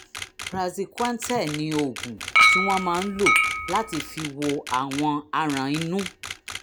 praziquantel ni oògùn tí wọ́n máa ń lò lò láti fi wo àwọn aràn inú